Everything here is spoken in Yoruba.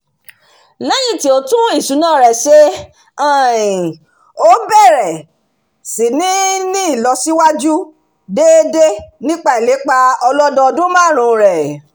lẹ́yìn tí ó tún ìṣúná rẹ̀ um ṣe ó bẹ̀rẹ̀ síí ní ìlọsíwájú déédé nípa ìlépa ọlọ́dún márùnún rẹ̀